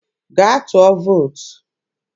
gaa tụọ vootu!